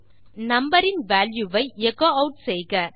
முதலில் நம்பர் இன் வால்யூ வை எச்சோ ஆட் செய்க